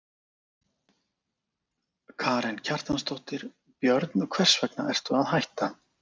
Karen Kjartansdóttir: Björn, hvers vegna ertu að hætta?